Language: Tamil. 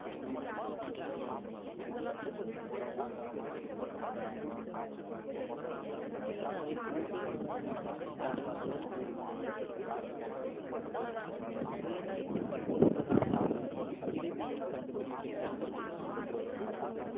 சீனாவின் உபே மாகாணத்தின் தலைநகர் ஊகானில் இரண்டாயிரத்தி பத்தொன்பதாம் ஆண்டு இறுதியில் கண்டுபிடிக்கப்பட்டது இந்த corona virus